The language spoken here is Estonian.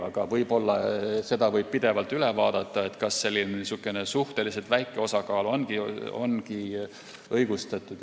Aga seda võib pidevalt üle vaadata, kas niisugune suhteliselt väike osakaal ongi õigustatud.